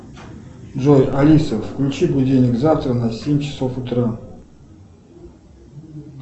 джой алиса включи будильник завтра на семь часов утра